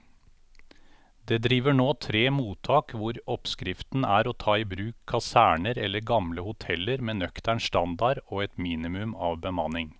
Det driver nå tre mottak hvor oppskriften er å ta i bruk kaserner eller gamle hoteller med nøktern standard og et minimum av bemanning.